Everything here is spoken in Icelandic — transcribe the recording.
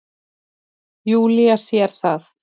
Júlía sér það.